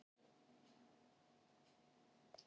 Köngulóin söng pönktónlist!